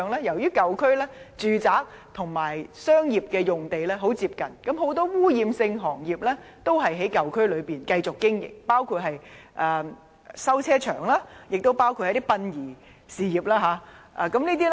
由於舊區的住宅和商業用地十分接近，很多污染性行業都在舊區內繼續經營，包括修理汽車場和殯儀事業。